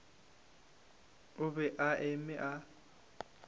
o be a eme a